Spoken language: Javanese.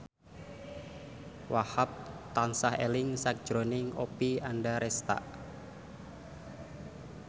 Wahhab tansah eling sakjroning Oppie Andaresta